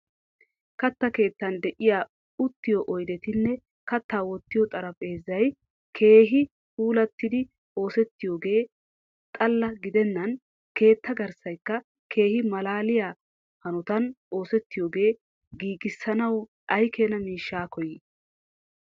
Katta keettan de'iya uttiyo oydettinne katta wottiyo xaraphexatti keehi puulattidi oosetiyoge xalla gidenan ketta garssayka keehi mallaliya hanotan ooseetiyoge giigiissanaw aykeena mishsa koyi?